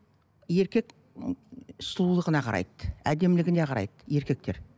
еркек сұлулығына қарайды әдемілігіне қарайды еркектер